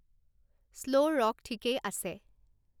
slow ৰক ঠিকেই আছে